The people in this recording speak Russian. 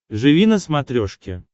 живи на смотрешке